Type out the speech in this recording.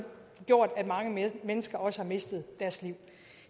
gjort at mange mennesker også har mistet deres liv